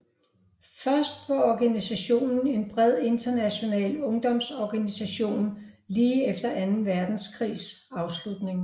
Først var organisationen en bred international ungdomsorganisation lige efter Anden Verdenskrigs afslutning